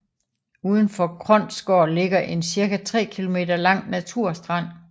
Uden for Kronsgaard ligger en cirka 3 km lang naturstrand